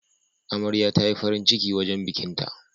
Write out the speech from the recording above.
Amarya tayi farin ciki wajan bikin ta